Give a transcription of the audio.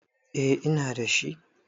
eh Ina da shi